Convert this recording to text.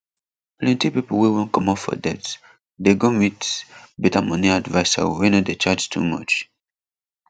plenty pipo wey wan comot for debt dey go meet better money adviser wey no dey charge too much